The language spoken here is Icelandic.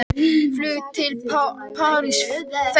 Flug til Parísar fellur niður